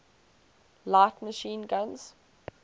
light machine guns